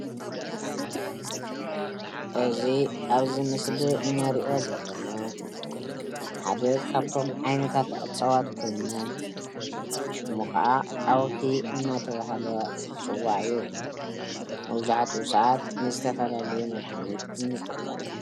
እዚ አብዚ ምስሊ እንሪኦ ዘለና ሓደ ካብቶም ዓይነታት አፅዋት ኮይኑ ሽሙ ከዓ ዓውሒ እናተበሃለ ዝፅዋዕ እዩ። መብዛሕትኡ ሰዓት ንዝተፈላለዩ መድሓኒት እንጥቀመሉ ።